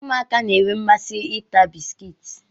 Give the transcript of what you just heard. Ụmụaka na-enwe mmasị ịta bisikiiti.